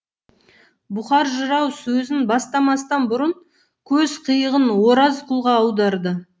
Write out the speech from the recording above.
бұқар жырау сөзін бастамастан бұрын көз қиығын ораз құлға аударды